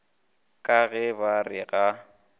ka ge ba re ga